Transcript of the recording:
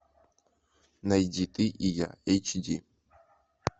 найди ты и я эйч ди